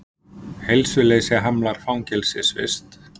Heilsuleysi hamlar fangelsisvist